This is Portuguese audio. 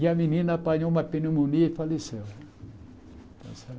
E a menina apanhou uma pneumonia e faleceu.